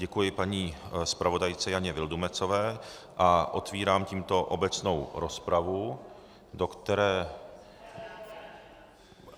Děkuji paní zpravodajce Jane Vildumetzové a otvírám tímto obecnou rozpravu, do které...